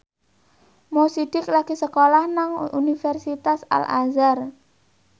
Mo Sidik lagi sekolah nang Universitas Al Azhar